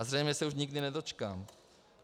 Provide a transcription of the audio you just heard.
A zřejmě se už nikdy nedočkám.